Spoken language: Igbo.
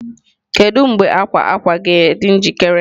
Kedu mgbe akwa akwa akwa ga-adị njikere?